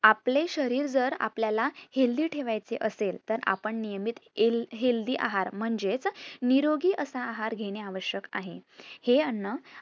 आपले शरीर जर आपल्याला healthy ठेवायचे असेल तर आपण नियमित ईल healthy आहार म्हणजेच निरोगी असा आहार घेणे आवश्यक आहे. हे अन्न